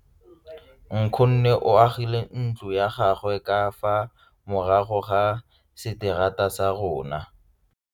Nkgonne o agile ntlo ya gagwe ka fa morago ga seterata sa rona.